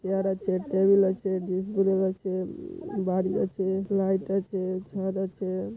Chair আছে table আছে আছে বাড়ি আছে লাইট আছে ছাদ আছে।